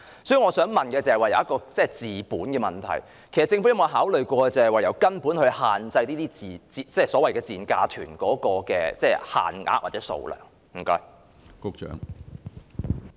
所以，我想問的是有關治本的問題，政府有否考慮從根本解決問題，限制這類所謂"賤價團"的限額或數量？